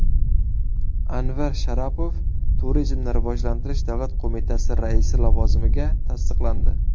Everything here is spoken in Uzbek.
Anvar Sharopov Turizmni rivojlantirish davlat qo‘mitasi raisi lavozimiga tasdiqlandi.